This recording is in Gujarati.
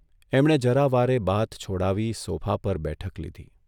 એમણે જરા વારે બાથ છોડાવી સોફા પર બેઠક લીધી.